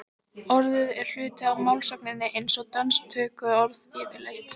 orðið er hluti af málsögunni eins og dönsk tökuorð yfirleitt